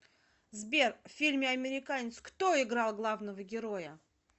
сбер в фильме американец кто играл главного героя